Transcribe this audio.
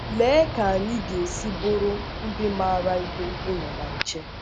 Lee ka anyị ga - esi bụrụ ndị maara ihe ịnọ na nche!